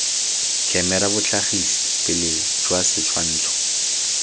khemera botlhagisi pele jwa setshwantsho